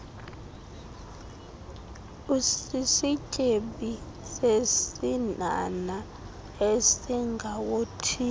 usisityebi sesinhanha esingawothiyo